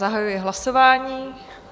Zahajuji hlasování.